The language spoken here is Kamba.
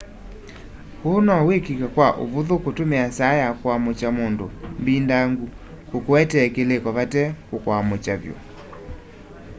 uu no wikike kwa uvuthu kutumia saa ya kuamukya mundu mbindangu kukuetee kiliko vate kukwamukya vyu